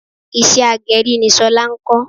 Iṣẹ́ agẹrí ni Ṣọlá ń kọ.